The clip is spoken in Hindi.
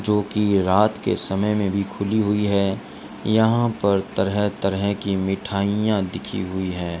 जोकि रात के समय मे भी खुली हुई है यहां पर तरह तरह की मिठाइयां दिखी हुई है।